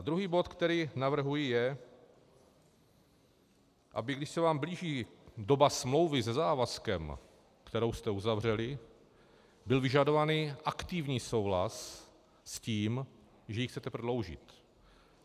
A druhý bod, který navrhuji je, aby když se vám blíží doba smlouvy se závazkem, kterou jste uzavřeli, byl vyžadovaný aktivní souhlas s tím, že ji chcete prodloužit.